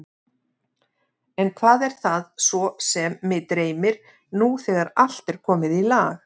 En hvað er það svo sem mig dreymir, nú þegar allt er komið í lag?